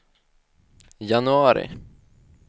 januari